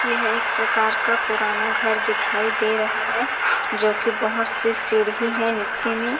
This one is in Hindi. यहाँ एक प्रकार का पुराना घर दिखाई दे रहा है जो कि बहुत से सीढ़ी है नीचे में --